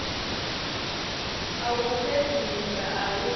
a u fhedzisa a u